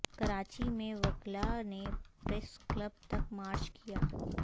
کراچی میں وکلاء نے پریس کلب تک مارچ کیا